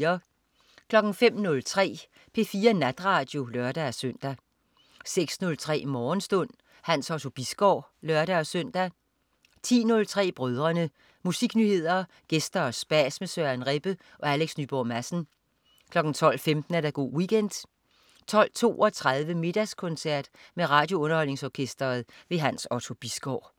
05.03 P4 Natradio (lør-søn) 06.03 Morgenstund. Hans Otto Bisgaard (lør-søn) 10.03 Brødrene. Musiknyheder, gæster og spas med Søren Rebbe og Alex Nyborg Madsen 12.15 Go' Weekend 12.32 Middagskoncert med RadioUnderholdningsOrkestret. Hans Otto Bisgaard